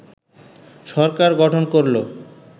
সরকার গঠন করল